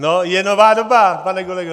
No, je nová doba, pane kolego.